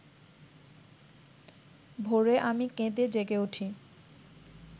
ভোরে আমি কেঁদে জেগে উঠি